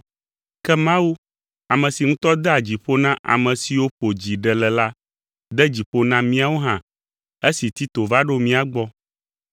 Ke Mawu, ame si ŋutɔ dea dzi ƒo na ame siwo ƒo dzi ɖe le la de dzi ƒo na míawo hã esi Tito va ɖo mía gbɔ.